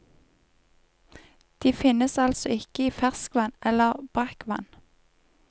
De finnes altså ikke i ferskvann eller brakkvann.